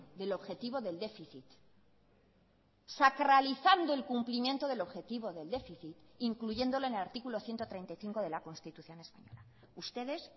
del objetivo del déficit sacralizando el cumplimiento del objetivo del déficit incluyéndolo en el artículo ciento treinta y cinco de la constitución española ustedes